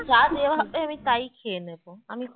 যা দেওয়া হবে আমি তাই খেয়ে নেবো আমি